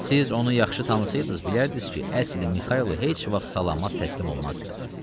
Siz onu yaxşı tanısaqdınız bilərdiniz ki, əsl Mixaylo heç vaxt salamat təslim olmazdı.